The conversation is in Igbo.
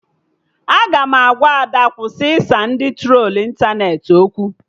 Aga m agwa Ada kwụsị ịsa ndị trolu ịntanetị okwu